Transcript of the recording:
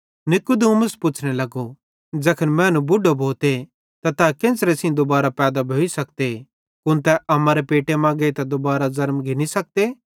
नीकुदेमुस पुच्छ़ने लगो ज़ैखन मैनू बुढो भोते त तै केन्च़रे सेइं दुबारो पैदा भोइ सकते कुन तै अम्मारे पेटे मां गेइतां दुबारो ज़ेरमी सकते